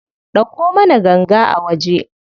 Ɗauko mana ganga a waje.